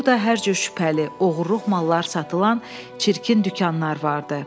Burda hər cür şübhəli, oğurluq mallar satılan çirkin dükanlar vardı.